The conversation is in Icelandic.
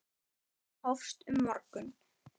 Ferðin hófst um morgun.